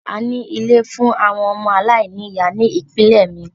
A ní ilé fún àwọn ọmọ aláìní ìyá ní ìpínlẹ̀ mi.